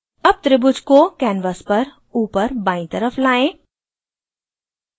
अब त्रिभुज को canvas पर ऊपर बायीं तरफ लाएं